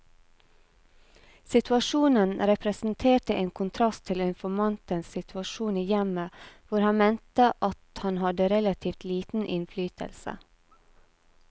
Situasjonen representerte en kontrast til informantens situasjon i hjemmet, hvor han mente at han hadde relativt liten innflytelse.